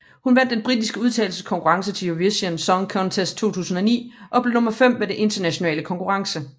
Hun vandt den britiske udtagelseskonkurrence til Eurovision Song Contest 2009 og blev nummer fem ved den internationale konkurrence